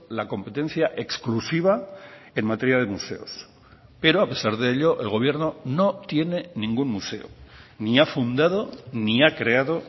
la competencia exclusiva en materia de museos pero a pesar de ello el gobierno no tiene ningún museo ni ha fundado ni ha creado